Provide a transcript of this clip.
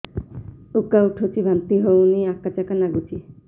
ଉକା ଉଠୁଚି ବାନ୍ତି ହଉନି ଆକାଚାକା ନାଗୁଚି